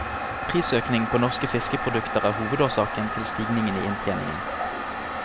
Prisøkning på norske fiskeprodukter er hovedårsaken til stigningen i inntjeningen.